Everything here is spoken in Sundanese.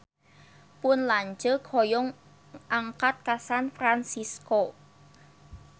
Pun lanceuk hoyong angkat ka San Fransisco